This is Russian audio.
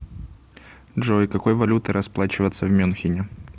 джой какой валютой расплачиваться в мюнхене